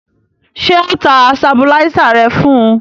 Ṣé ọ ta sabuláísà rẹ fún un?